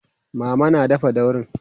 mama na dafa daurin